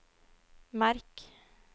merk